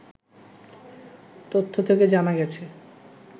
তথ্য থেকে জানা গেছে